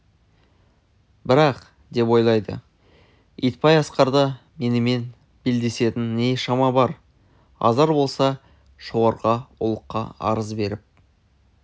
бірақ деп ойлады итбай асқарда менімен белдесетін не шама бар азар болса жоғарғы ұлыққа арыз беріп